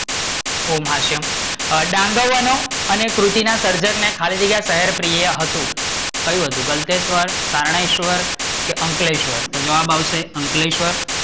ઓમ હાસ્યમ, ડાંગરવાના અને કૃતિ ના સર્જક ને ખાલી જગ્યા શહેર પ્રિય હતું, કયું હતુ? ગળતેશ્વર, શરનાયેશ્વર કે અંકલેશ્વર, તો જવાબ આવશે અંકલેશ્વર